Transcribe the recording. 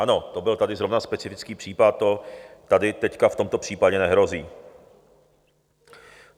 Ano, to byl tady zrovna specifický případ, to tady teď v tomto případě nehrozí.